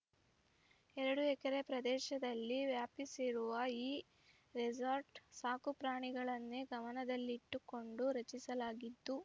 ಎರಡು ಎಕರೆ ಪ್ರದೇಶದಲ್ಲಿ ವ್ಯಾಪಿಸಿರುವ ಈ ರೆಸಾರ್ಟ್‌ ಸಾಕುಪ್ರಾಣಿಗಳನ್ನೇ ಗಮನದಲ್ಲಿಟ್ಟುಕೊಂಡು ರಚಿಸಲಾಗಿದ್ದು